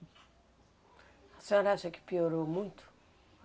A senhora acha que piorou muito?